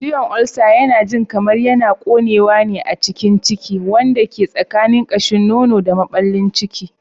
Ciwon ulcer yana jin kamar yana ƙonewa a cikin ciki, wanda ke tsakanin ƙashin nono da maɓallin ciki.